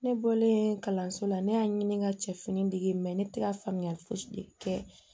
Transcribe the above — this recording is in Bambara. Ne bɔlen kalanso la ne y'a ɲini ka cɛ fini degi ne tɛ ka faamuyali fosi de kɛ